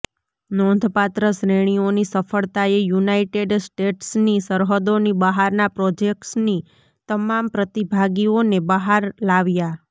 નોંધપાત્ર શ્રેણીઓની સફળતાએ યુનાઇટેડ સ્ટેટ્સની સરહદોની બહારના પ્રોજેક્ટ્સની તમામ પ્રતિભાગીઓને બહાર લાવ્યા